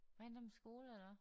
Rindum skole eller hvad?